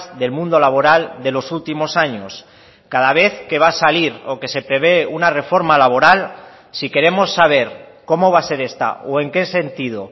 del mundo laboral de los últimos años cada vez que va a salir o que se prevé una reforma laboral si queremos saber cómo va a ser esta o en qué sentido